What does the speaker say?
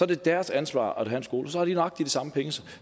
det deres ansvar at have en skole og så har de nøjagtig de samme penge